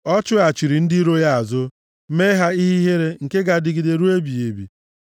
Ọ chụghachiri ndị iro ya azụ, mee ha ihe ihere nke ga-adịgide ruo ebighị ebi.